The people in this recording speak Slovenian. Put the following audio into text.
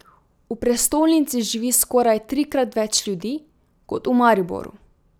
V prestolnici živi skoraj trikrat več ljudi kot v Mariboru.